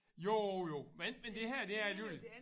Jo jo men men det her det er alligevel